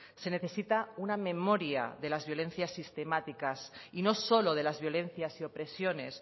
se necesita una memoria de las violencias sistemáticas y no solo de las violencias y opresiones